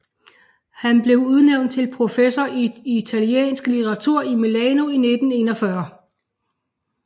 Han blev udnævnt til professor i italiensk litteratur i Milano i 1941